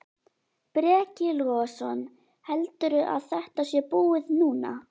Breki Logason: Heldurðu að þetta sé búið núna?